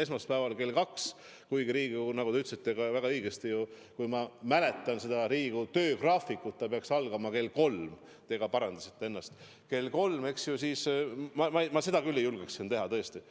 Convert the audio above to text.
esmaspäeval kell kaks – Riigikogu istung, nagu te ütlesite väga õigesti ja ma mäletan ka ise Riigikogu töögraafikut, peaks küll algama kell kolm ja te ka parandasite ennast, kell kolm, eks ju – ma seda küll ei julge teha, tõesti.